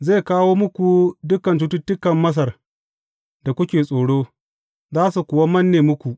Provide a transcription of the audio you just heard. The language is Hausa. Zai kawo muku dukan cututtukan Masar da kuke tsoro, za su kuwa manne muku.